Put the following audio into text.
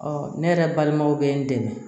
Ɔ ne yɛrɛ balimaw bɛ n dɛmɛ